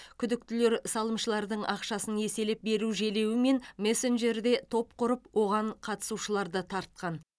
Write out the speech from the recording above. күдіктілер салымшылардың ақшасын еселеп беру желеуімен мессенджерде топ құрып оған қатысушыларды тартқан